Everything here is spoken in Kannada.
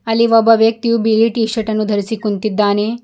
ಅಲ್ಲಿ ಒಬ್ಬ ವ್ಯಕ್ತಿಯು ಬಿಳಿ ಟೀ ಶರ್ಟ್ ಅನ್ನು ಧರಿಸಿ ಕುಂತಿದ್ದಾನೆ.